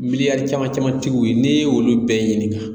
Miliyare caman caman tigiw n'i y'olu bɛɛ ɲinin.